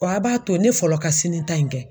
Wa a b'a to ne fɔlɔ ka sini ta in kɛ.